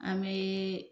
An bɛ